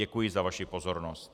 Děkuji za vaši pozornost.